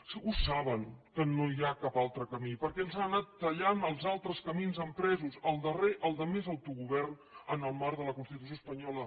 ho saben que no hi ha cap altre camí perquè ens han anat tallant els altres camins empresos el darrer el de més autogovern en el marc de la constitució espanyola